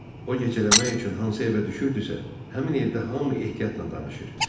O gecələmək üçün hansı evə düşürdüsə, həmin evdə hamı ehtiyatla danışır.